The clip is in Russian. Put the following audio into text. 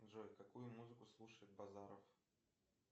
джой какую музыку слушает базаров